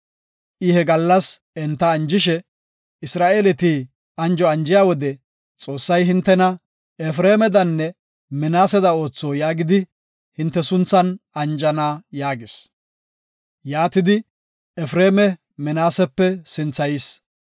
I he gallas enta anjishe, “Isra7eeleti anjo anjiya wode, ‘Xoossay hintena Efreemadanne Minaaseda ootho’ yaagidi hinte sunthan anjana” yaagis. Yaatidi Efreema Minaasepe sinthayis.